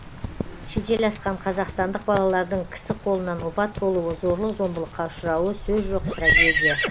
шетел асқан қазақстандық балалардың кісі қолынан опат болуы зорлық зомбылыққа ұшырауы сөз жоқ трагедия